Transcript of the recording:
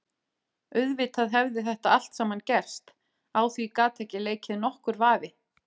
Auðvitað hefði þetta allt saman gerst, á því gat ekki leikið nokkur vafi.